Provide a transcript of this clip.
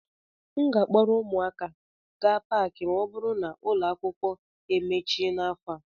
M ga-akpọrọ ụmụaka gaa Paakị ma ọ bụrụ na ụlọ akwụkwọ emechi n'afọ a